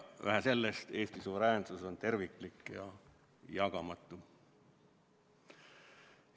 Vähe sellest, Eesti suveräänsus on terviklik ja jagamatu.